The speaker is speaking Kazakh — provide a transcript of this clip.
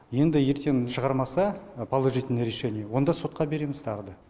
енді ертең шығармаса положительный решение онда сотқа береміз тағы да